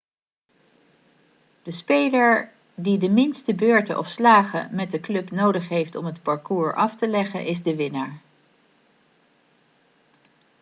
de speler die de minste beurten of slagen met de club nodig heeft om het parcours af te leggen is de winnaar